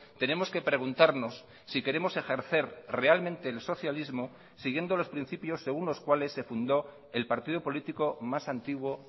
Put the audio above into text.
tenemos que preguntarnos si queremos ejercer realmente el socialismo siguiendo los principios según los cuales se fundó el partido político más antiguo